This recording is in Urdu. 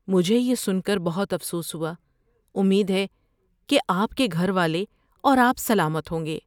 مجھے یہ سن کر بہت افسوس ہوا۔ امید ہے کہ آپ کے گھر والے اور آپ سلامت ہوں گے۔